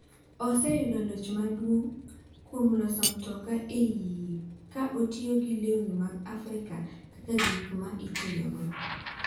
Oseyudo loch maduong’ kuom loso mtoka e iye ka otiyo gi lewni mag Afrika kaka gik ma itiyogo.